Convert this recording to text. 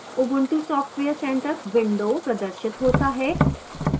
ubuntu software centre window प्रदर्शित होता है